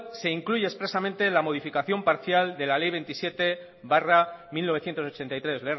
se incluye expresamente la modificación parcial de la ley veintisiete barra mil novecientos ochenta y tres